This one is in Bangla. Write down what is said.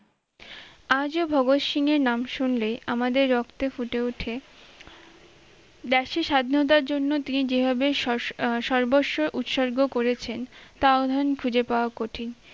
আজও ভগৎ সিং এর নাম শুনলে আমাদের রক্তে ফুটে উঠে ব্যাসি স্বাধীনতার জন্য তিনি যে ভাবে স~সর্বস্ব উৎসর্গ করেছেন তা আহ্বান খুঁজে পাওয়া কঠিন